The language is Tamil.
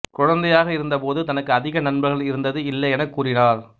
குழந்தையாக இருந்த போது தனக்கு அதிக நண்பர்கள் இருந்தது இல்லை எனக் கூறினார்